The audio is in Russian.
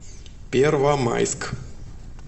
первомайск